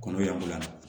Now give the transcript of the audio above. Kɔnɔ y'an bila